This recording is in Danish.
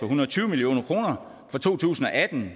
hundrede og tyve million kroner for to tusind og atten